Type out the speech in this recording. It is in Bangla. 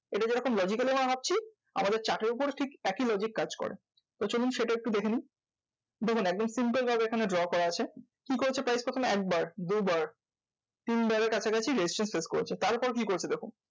এটা যেরকম logically ভাবছি আমাদের chart এর উপরেও ঠিক একই logic কাজ করে। তো চলুন সেটা একটু দেখে নিই। দেখুন একদম simple ভাবে এখানে draw করা আছে, কি করেছে price তখন একবার দুবার তিনবারের কাছাকাছি resistance face করেছে। তারপর কি করেছে দেখুন?